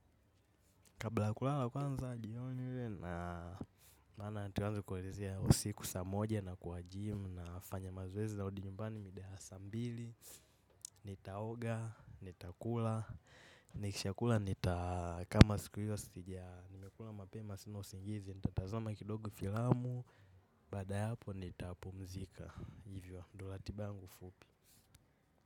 Kabla kulala kwanza jiyonywe na nana atuanzu kuwezea usiku samoja na kwa gym na fanya mazoezii narudi nyumbani midaa ya saa mbili. Nitaoga, nitakula, nikishakula nita kama siku hiyo sitijia nimekula mapema sina usingizi. Nitatazama kidogo filamu, bada hapo nitapumzika, hivyo, ndo ratiba yangu fupi.